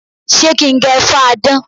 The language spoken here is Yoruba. Ṣé kí n gẹ fáadán?